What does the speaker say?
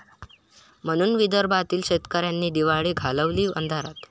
...म्हणून विदर्भातील शेतकऱ्यांनी दिवाळी घालवली अंधारात!